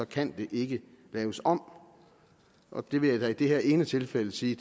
kan det ikke laves om og det vil jeg det her ene tilfælde sige